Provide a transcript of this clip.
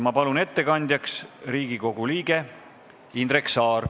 Ma palun ettekandjaks Riigikogu liikme Indrek Saare.